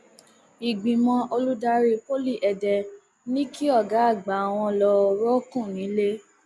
ìgbìmọ olùdarí poli èdè ní kí ọgá àgbà wọn lọ rọọkùn nílẹ